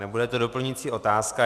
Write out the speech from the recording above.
Nebude to doplňující otázka.